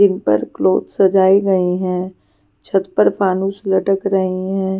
जिन पर क्लोथ सजाए गए हैं छत पर फानुस लटक रहे हैं.